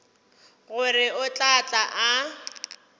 gore o tla tla a